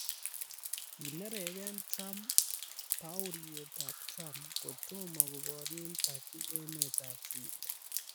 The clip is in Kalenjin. Kineregee Trump paruetab Trump Kotomo koborie Turkey emetab Syria.